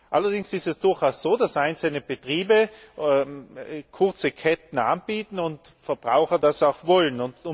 Allerdings ist es durchaus so, dass einzelne Betriebe kurze Ketten anbieten und Verbraucher das auch wollen.